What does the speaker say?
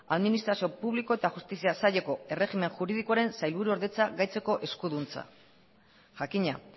administrazio publiko eta justizia saileko erregimen juridikoaren sailburuordetza gaitzeko eskuduntza jakina